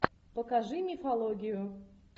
покажи мифологию